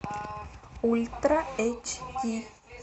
ультра эйч ди